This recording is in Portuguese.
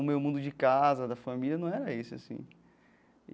O meu mundo de casa, da família, não era isso assim.